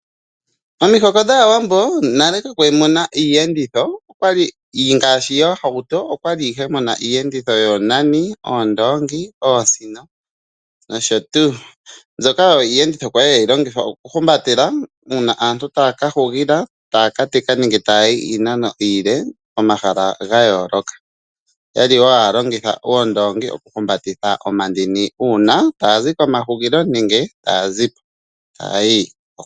Omihoko dhAawambo nale kamwa li mu na iiyenditho ngaashi yoohauto. Omwa li mu na iiyenditho yoonani, oondoongi, oosino nosho tuu, mbyoka oyo iiyenditho ya li hayi longithwa okuhumbatela uuna aantu taya ka hugila, taya ka teka nenge taya yi iinano iile pomahala ga yooloka. Oya li wo haya longitha oondoongi okuhumbatitha omandini uuna taya zi komahugilo.